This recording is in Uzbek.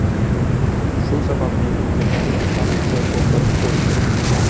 Shu sababli unga hukm chiqarilishi to‘xtatib qo‘yilgan.